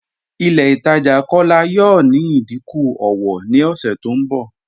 Ilẹ̀ Itaajà Kọla yọọ ní ìdíkún ọwọ̀ ni ọṣẹ tó nbọ.